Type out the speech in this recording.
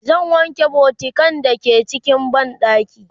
zan wanke bokitan da ke cikin banɗakin